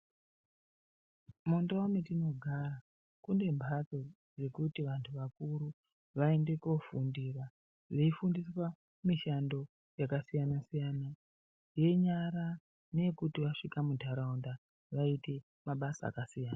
Munduwa matinogara kune mhando dzekuti vantu vakuru vaende kunofundira, veifundiswa mishando yakasiyana-siyana, yenyara ngeyekuti vasvika muntaraunda vaite mabasa akasiyana.